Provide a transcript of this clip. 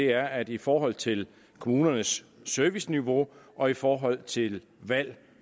er at i forhold til kommunernes serviceniveau og i forhold til valg